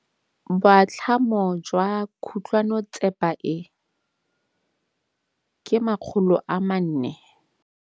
Boatlhamô jwa khutlonnetsepa e, ke 400.